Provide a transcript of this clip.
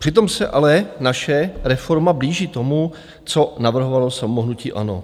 Přitom se ale naše reforma blíží tomu, co navrhovalo samo hnutí ANO.